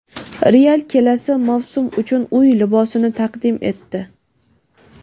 "Real" kelasi mavsum uchun uy libosini taqdim etdi.